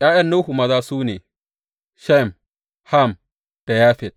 ’Ya’yan Nuhu maza su ne, Shem, Ham da Yafet.